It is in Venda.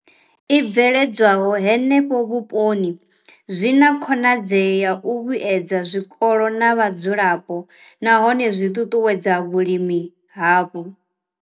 I bveledzwaho henefho vhuponi zwi na khonadzeo ya u vhuedza zwikolo na vhadzulapo nahone zwi ṱuṱuwedza vhulimi hapo.